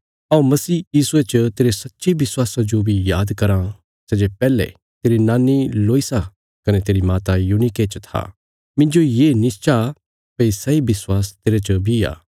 हऊँ मसीह यीशुये च तेरे सच्चे विश्वासा जो बी याद कराँ सै जे पैहले तेरी नानी लोईसा कने तेरी माता यूनीके च था मिन्जो ये निश्चा भई सैई विश्वास तेरे च बी आ